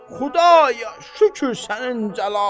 Xudaya, şükür sənin cəlalına.